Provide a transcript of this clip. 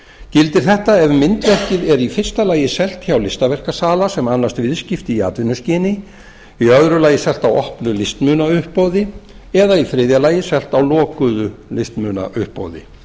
gildir þetta ef myndverkið er í fyrsta lagi selt hjá listaverkasala sem annast viðskipti í atvinnuskyni í öðru lagi selt á opnu listmunauppboði eða í þriðja lagi selt á lokuðu listmunauppboði